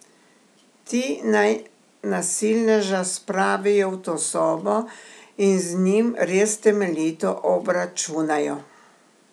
Ti naj nasilneža spravijo v to sobo in z njim res temeljito obračunajo.